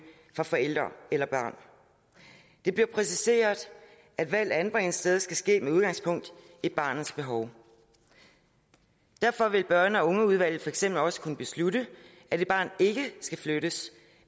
fra forældre eller barn det bliver præciseret at valg af anbringelsessted skal ske med udgangspunkt i barnets behov derfor vil børn og ungeudvalget for eksempel også kunne beslutte at et barn ikke skal flyttes